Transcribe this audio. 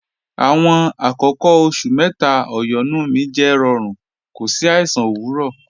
Àwọn àkọ̀kọ̀ oṣù̀ méta ọ̀yọ́nú mi jẹ́ rọ̀rún, kò sí àìsàn owurọ̀